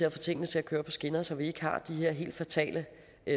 at få tingene til at køre på skinner så vi ikke har de her helt fatale